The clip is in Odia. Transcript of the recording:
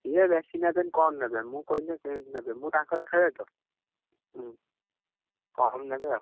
ଇଏ ବେଶୀ ନେବେନି କମ ନେବେ ମୁଁ କହିଲେ ସେ ନେବେ ମୁଁ ତାଙ୍କର ଖେଳେ ତ, ହୁଁ, କମ ନେବେ ଆଉ।